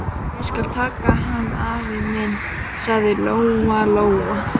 Ég skal taka hann, afi minn, sagði Lóa-Lóa.